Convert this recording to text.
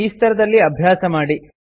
ಈ ಸ್ತರದಲ್ಲಿ ಅಭ್ಯಾಸ ಮಾಡಿ